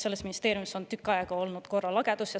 Selles ministeeriumis on juba tükk aega olnud korralagedus.